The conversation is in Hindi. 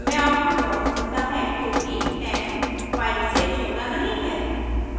हमें आउटपुट false मिलता है क्योंकि 10 5 से छोटा नहीं है